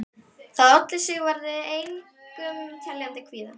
Það olli Sigvarði engum teljandi kvíða.